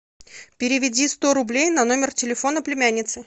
переведи сто рублей на номер телефона племянницы